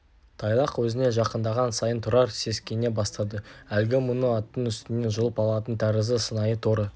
тайлақ өзіне жақындаған сайын тұрар сескене бастады әлгі мұны аттың үстінен жұлып алатын тәрізді сыңайы торы